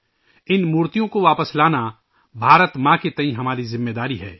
ان مورتیوں کو واپس لانا بھارت ماں کے تئیں ہمارا فرض تھا